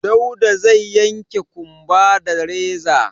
Dauda zai yanke ƙumba da reza.